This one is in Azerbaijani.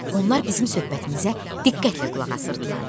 Onlar bizim söhbətimizə diqqətlə qulaq asırdılar.